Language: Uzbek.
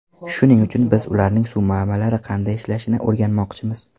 Shuning uchun biz ularning suv manbalari qanday ishlashini o‘rganmoqchimiz.